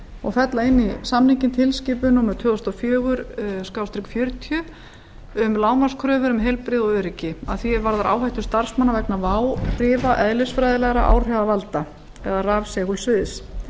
og fella inn í samninginn tilskipun númer tvö þúsund og fjögur fjörutíu e b um lágmarkskröfur um heilbrigði og öryggi að því er varðar áhættu starfsmanna vegna váhrifa eðlisfræðilegra áhrifavalda eða rafsegulsviðs